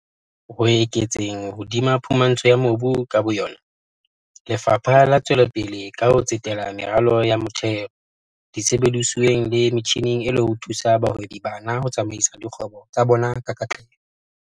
Ho eketseng hodima phumantsho ya mobu ka bo yona, Lefapha le tswelapele ka ho tsetela meralong ya motheo, disebedisuweng le metjhineng e le ho thusa bahwebi bana ho tsamaisa dikgwebo tsa bona ka katleho.